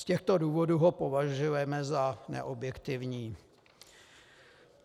Z těchto důvodů ho považujeme za neobjektivní.